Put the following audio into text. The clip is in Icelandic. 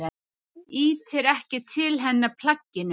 Ýtir ekki til hennar plagginu.